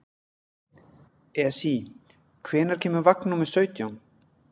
Esí, hvenær kemur vagn númer sautján?